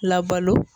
Labalo